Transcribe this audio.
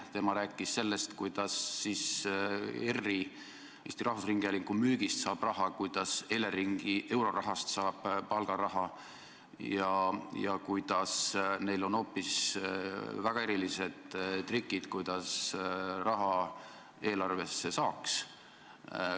Tema on rääkinud sellest, kuidas Eesti Rahvusringhäälingu müügist saab raha, kuidas Eleringi eurorahast saab palgaraha ja kuidas neil on väga erilised trikid, kuidas raha eelarvesse saaks.